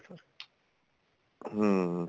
ਹਮ